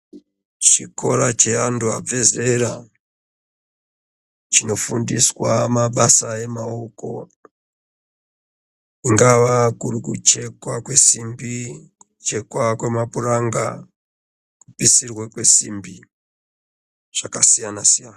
Chikora cheandu abva zera chinofundiswa mabasa emaoko kungava kurikuchekwa kwesimbi, kuchekwa kwemapuranga, kupisirwa kwesimbi zvakasiyana siyana.